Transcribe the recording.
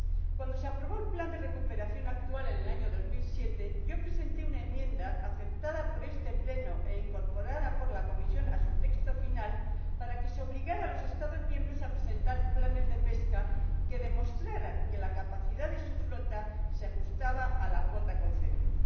Cuando se aprobó el plan de recuperación actual en el año 2007, presenté una enmienda, aceptada por este Pleno e incorporada por la Comisión a su texto final, para que se obligara a los Estados miembros a desarrollar planes de pesca que demostraran que la capacidad de su flota se ajustaba a la cuota concedida.